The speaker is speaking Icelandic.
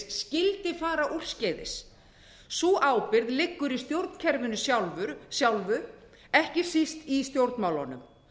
skyldi fara úrskeiðis sú ábyrgð liggur í stjórnkerfinu sjálfu ekki síst í stjórnmálunum